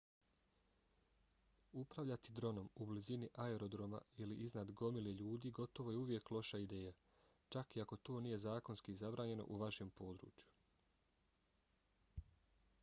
upravljati dronom u blizini aerodroma ili iznad gomile ljudi gotovo uvijek je loša ideja čak i ako to nije zakonski zabranjeno u vašem području